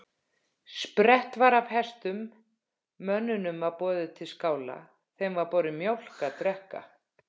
Sprett var af hestum, mönnunum var boðið til skála, þeim var borin mjólk að drekka.